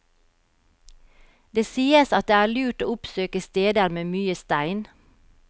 Det sies at det er lurt å oppsøke steder med mye stein.